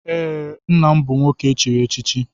Ee, nna m bụ nwoke echiri echichi.